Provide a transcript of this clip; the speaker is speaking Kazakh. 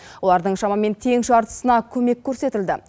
олардың шамамен тең жартысына көмек көрсетілді